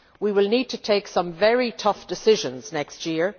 We will need to take some very tough decisions next year.